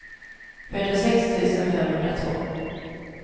fyrtiosex tusen femhundratvå